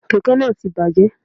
Kèké náà ti bàjé